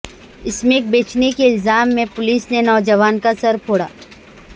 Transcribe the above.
smack بیچنے کے الزام میں پولس نے نوجوان کا سر پھوڑا